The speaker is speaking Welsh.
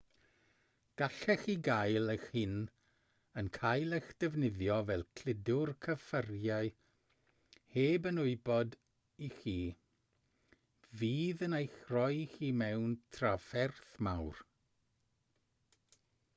gallech chi gael eich hun yn cael eich defnyddio fel cludwr cyffuriau heb yn wybod i chi fydd yn eich rhoi chi mewn trafferth mawr